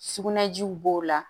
Sugunɛjiw b'o la